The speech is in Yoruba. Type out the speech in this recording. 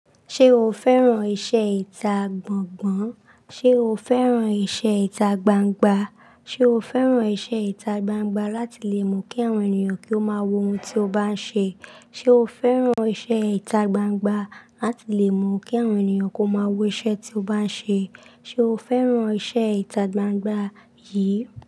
Ṣé o fẹ́ràn iṣẹ́ ìta gbongbon? Ṣé o fẹ́ràn iṣẹ́ ìta gbangba? Ṣé o fẹ́ràn iṣẹ́ ìta gbangba láti lè mọ̀ kí àwọn ènìyàn kí ó máa wo ohun tí o bá ń ṣe? Ṣé o fẹ́ràn iṣẹ́ ìta gbangba láti lè mu kí àwọn ènìyàn kó máa wo iṣẹ́ tí o bá ń ṣe? Ṣé o fẹ́ràn iṣẹ́ ìta gbangba yìí?